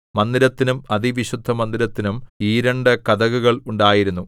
മന്ദിരത്തിനും അതിവിശുദ്ധമന്ദിരത്തിനും ഈ രണ്ടു കതകുകൾ ഉണ്ടായിരുന്നു